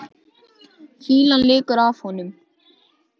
Fýlan lekur af honum.